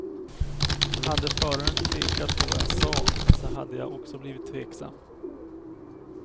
Hade föraren tvekat på vad jag sa så hade jag också blivit tveksam.